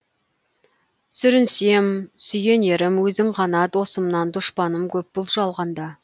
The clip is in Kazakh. сүрінсем сүйенерім өзің ғана досымнан дұшпаным көп бұл жалғанда